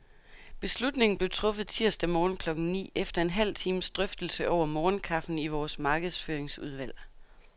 Beslutningen blev truffet tirsdag morgen klokken ni, efter en halv times drøftelse over morgenkaffen i vores markedsføringsudvalg.